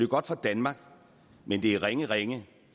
godt for danmark men det er ringe ringe